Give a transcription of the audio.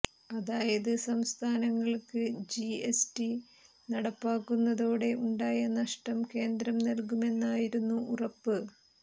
അതായത് സംസ്ഥാനങ്ങള്ക്ക് G S T നടപ്പിലാക്കുന്നതോടെ ഉണ്ടായ നഷ്ടം കേന്ദ്രം നല്കുമെന്നായിരുന്നു ഉറപ്പ്